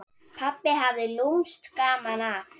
Pabbi hafði lúmskt gaman af.